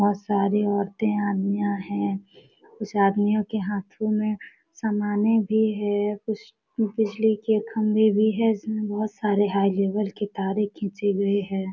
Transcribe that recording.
बहुत सारी औरतें अदमियां है उस आदमियों के हाथों में सामाने भी है। कुछ बिजली के खंबे भी है इसमें बहुत सारे हाई लेवल की तारे खिंची गई है।